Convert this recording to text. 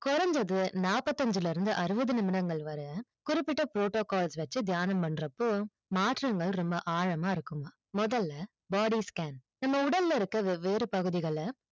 கொறஞ்சது நாபத்தி அஞ்சில இருந்து அறுவது நிமிடங்கள் வர குறிப்பிட்ட protocalls வச்சி தியானம் பண்றப்போ மாற்றங்கள் ரொம்ப ஆழமா இருக்குமா முதல்ல body scan உடல்ல இருக்குற வெவ்வேறு பகுதிகள